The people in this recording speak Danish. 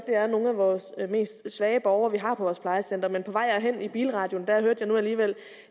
er nogle af vores mest svage borgere vi har på vores plejecentre men på vej herind i bilradioen nu alligevel